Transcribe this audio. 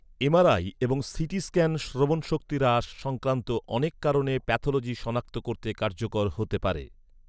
MRI এবং CT scan শ্রবণশক্তি হ্রাস সংক্রান্ত অনেক কারণের প্যাথলজি সনাক্ত করতে কার্যকর হতে পারে।